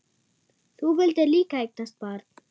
Þú vildir líka eignast barn.